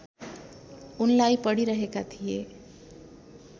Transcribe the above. उनलाई पढिरहेका थिए